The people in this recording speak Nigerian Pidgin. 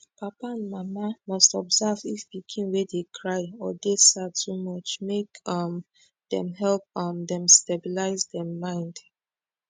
papa and mama must observe if pikin wey dey cry or dey sad too much make um dem help um dem stabilize dem mind